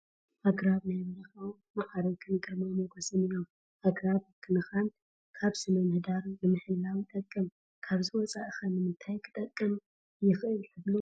ኣግራብ ናይ በረኻ ማዕርግን ግርማ ሞገስን እዮም፡፡ ኣግራብ ምንክብኻብ ስነ ምህዳር ንምሕላው ይጠቅም፡፡ ካብዚ ወፃኢ ኸ ንምንታይ ክጠቅም ይኽእል ትብሉ?